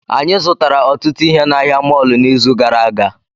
Anyị zụtara ọtụtụ ihe na ahịa mọọlụ n'izu gara aga